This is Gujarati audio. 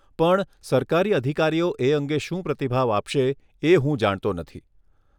પણ સરકારી અધિકારીઓ એ અંગે શું પ્રતિભાવ આપશે એ હું જાણતો નથી.